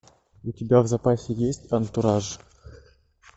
у тебя в запасе есть антураж